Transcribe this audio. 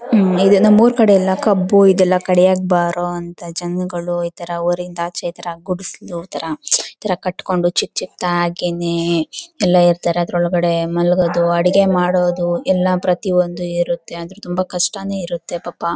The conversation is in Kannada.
ಇದನ್ನ ನಮ್ಮ ಊರು ಕಡೆ ಎಲ್ಲ ಕಬ್ಬು ಇದೆಲಾ ಕಡಿಯಾಕ್ ಬಾರೋ ಅಂತೂ ಜನಗಳು ಇತರ ಊರು ಇಂದ ಆಚೆ ಇತರ ಗುಡಿಸಿಲು ಇತರ ಇತರ ಕಟ್ಕೊಂಡು ಚಿಕಿಚಿಕ್ಕ್ ದಾಗಿನೇ ಎಲ್ಲ ಇರ್ತಾರೆ ಆದರೂ ಒಳಗಡೆ ಮಲಗೋದು ಅಡಿಗೆ ಮಾಡೋದು ಎಲ್ಲ ಪ್ರತಿ ಒಂದು ಇರುತ್ತೆ ಆದರೂ ತುಂಬಾ ಕಷ್ಟನೇ ಇರುತ್ತೆ ಪಾಪ.